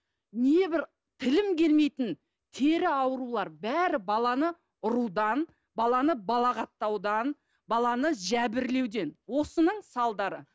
небір тілім келмейтін тері аурулары бәрі баланы ұрудан баланы балағаттаудан баланы жәбірлеуден осының салдары